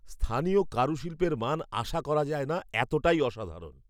স্থানীয় কারুশিল্পের মান আশা করা যায় না এতটাই অসাধারণ!